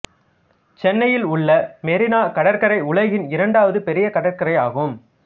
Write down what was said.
சென்னையில் உள்ள மெரினா கடற்கரை உலகின் இரண்டாவது பெரிய கடற்கரை ஆகும்